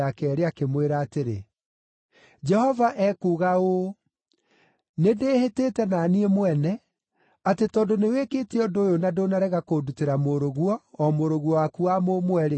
akĩmwĩra atĩrĩ, “Jehova ekuuga ũũ: Nĩndĩhĩtĩte na niĩ mwene, atĩ tondũ nĩwĩkĩte ũndũ ũyũ na ndũnarega kũndutĩra mũrũguo, o mũrũguo waku wa mũmwe-rĩ,